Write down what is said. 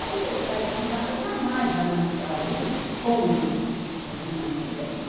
A universidade privada jamais vai manter alguém como eu fui mantida.